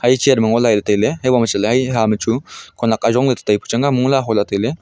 iya chair ma ngo lah tailey habo ma haje kha ma chu khenek ajong la tetai pu chang a mong le aholey taiga.